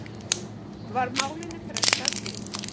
Var málinu frestað til